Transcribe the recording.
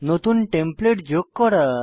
নতুন টেমপ্লেট যোগ করা